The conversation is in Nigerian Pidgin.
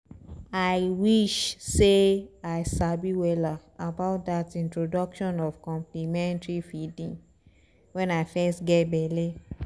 ahi wish sey i sabi wella about that introduction of complementary feeding when i fess geh belle